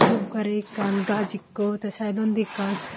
dup gari ekkan gaas ikko tey saidondi ekkan.